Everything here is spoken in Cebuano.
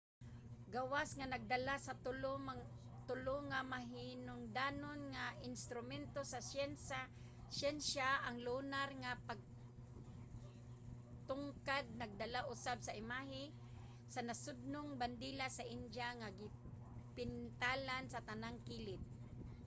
gawas nga nagdala sa tulo nga mahinungdanong mga instrumento sa syensya ang lunar nga pagtugkad nagdala usab sa imahe sa nasudnong bandila sa india nga gipintalan sa tanang kilid